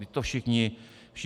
Vždyť to všichni znáte.